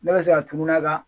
Ne bɛ se ka tununa ka